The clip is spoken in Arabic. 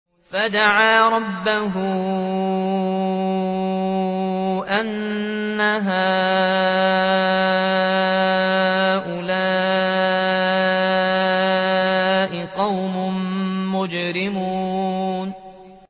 فَدَعَا رَبَّهُ أَنَّ هَٰؤُلَاءِ قَوْمٌ مُّجْرِمُونَ